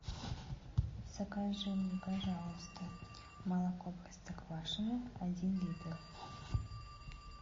закажи мне пожалуйста молоко простоквашино один литр